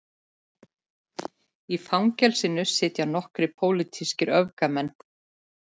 Í fangelsinu sitja nokkrir pólitískir öfgamenn